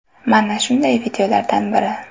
Mana shunday videolardan biri.